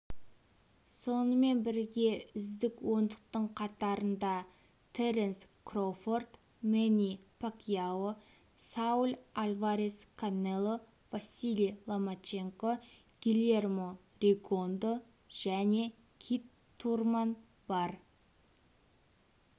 сонымен бірге үздік ондықтың қатарында теренс кроуфорд мэнни пакьяо сауль альварес канело василий ломаченко гильермо ригондо және кит турман бар